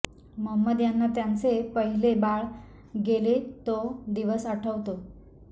मोहम्मद ह्यांना त्यांचे पहिले बाळ गेले तो दिवस आठवतो